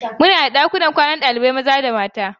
Muna da ɗakunan kwanan ɗalibai maza da mata.